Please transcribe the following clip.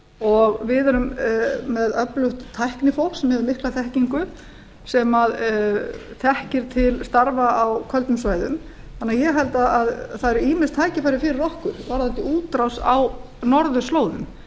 og við erum með öflugt tæknifólk sem hefur mikil þekkingu sem þekkir til starfa á köldum svæðum þannig að ég held að það séu ýmis tækifæri fyrir okkur varðandi útrás á norðurslóðum